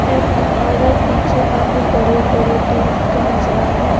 M और पीछे काफी बड़े बड़े तरह ट नजर आ रहे।